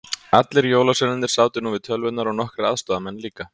Allir jólasveinarnir sátu nú við tölvurnar og nokkrir aðstoðamenn líka.